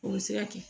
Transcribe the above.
O bɛ se ka kɛ